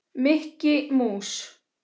Mikki mús.